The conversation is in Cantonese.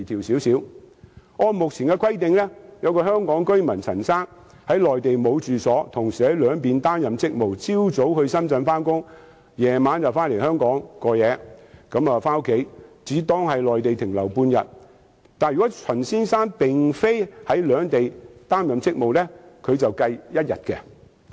舉例而言，按目前的規定，香港居民陳先生在內地沒有住所，同時在兩地擔任職務，早上到深圳上班，晚上回到香港居住，只當他在內地停留半天；但是，如果陳先生並非在兩地擔任職務，則算作停留一天。